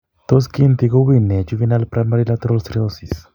Tos kiinti ko wuuy nee juvenile primary lateral sclerosis?